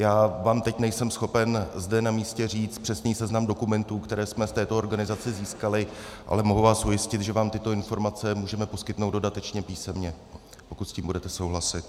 Já vám teď nejsem schopen zde na místě říct přesný seznam dokumentů, které jsme v této organizaci získali, ale mohu vás ujistit, že vám tyto informace můžeme poskytnout dodatečně písemně, pokud s tím budete souhlasit.